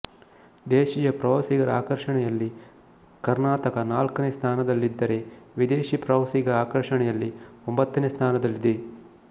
ದೇಶೀಯ ಪ್ರವಾಸಿಗರ ಆಕರ್ಷಣೆಯಲ್ಲಿ ಕರ್ನಾತಕ ನಾಲ್ಕನೇ ಸ್ಥಾನದಲ್ಲಿದ್ದರೆ ವಿದೇಶಿ ಪ್ರವಾಸಿಗರ ಆಕರ್ಷಣೆಯಲ್ಲಿ ಒಂಬತ್ತನೆ ಸ್ಥಾನದಲ್ಲಿದೆ